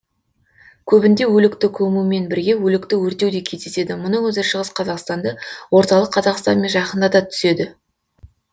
көбінде өлікті көмумен бірге өлікті өртеу де кездеседі мұның өзі шығыс казақстанды орталық қазақстанмен жақындата түседі